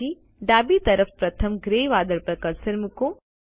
પછી ડાબી તરફ પ્રથમ ગ્રે વાદળ પર કર્સર મૂકો